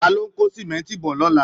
Ta ló ń kó símẹ́ńtì bọ̀ lọ́la